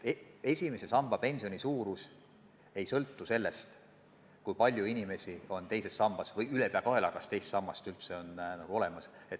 Esimese samba pensioni suurus ei sõltu sellest, kui palju inimesi on teises sambas või kas teist sammast ülepeakaela on olemas.